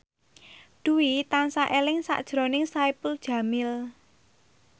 Dwi tansah eling sakjroning Saipul Jamil